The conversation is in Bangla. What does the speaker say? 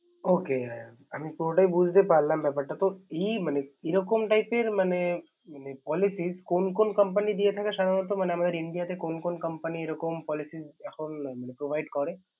Okay আমি পুরোটাই বুঝতে পারলাম ব্যাপার টা। তো এই মানে এরকম type এর মানে polices কোন কোন company দিয়ে থাকে সাধারণত মানে, আমাদের ইন্ডিয়াতে? কোন কোন company এরকম policy এখন provide করে?